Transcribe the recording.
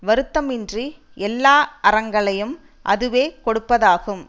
வருத்தமின்றி எல்லா அறங்களையும் அதுவே கொடுப்பதாகும்